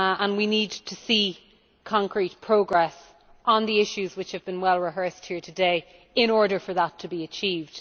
We need to see concrete progress on the issues which have been well rehearsed here today in order for that to be achieved.